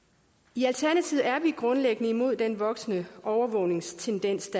i alternativet er vi grundlæggende imod den voksende overvågningstendens